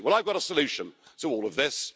50. Well, I've got a solution to all of this.